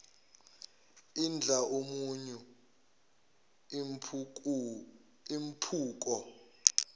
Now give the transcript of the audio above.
idla umunyu impucuko